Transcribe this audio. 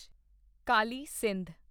Kali Sindh